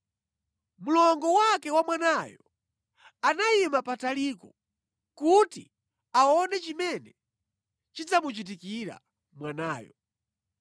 Mlongo wake wa mwanayo anayima pataliko kuti aone chimene chidzamuchitikira mwanayo.